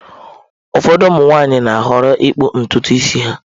Ụfọdụ ụmụ nwanyị na-ahọrọ ịkpụ ntutu isi ha.